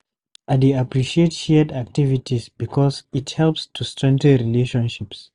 I dey appreciate shared activities because it helps to strengthen relationships.